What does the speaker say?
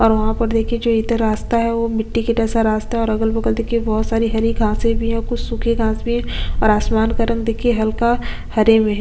और वहाँ पर देखिये जो इधर रास्ता है वो मिट्टी के जैसा रास्ता है और अगल-बगल देखिये बहोत सारी हरी घाँसे भी है और कुछ सुखी घांस भी है और आसमान का रंग देखिये हल्का हरे में--